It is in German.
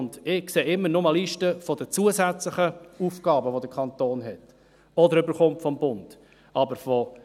Ich sehe immer nur Listen mit zusätzlichen Aufgaben, die der Kanton hat oder vom Bund erhält.